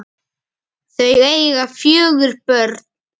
Þau eiga fjögur börn